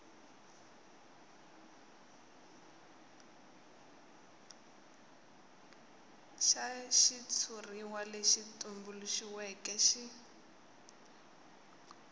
xa xitshuriwa lexi tumbuluxiweke xi